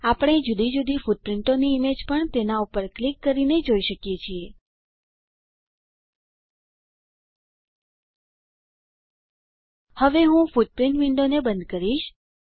આપણે જુદી જુદી ફૂટપ્રીંટોની ઈમેજને પણ તેના પર ક્લિક કરીને જોઈ શકીએ છીએ હું હવે ફૂટપ્રીંટ વિન્ડોને બંધ કરીશ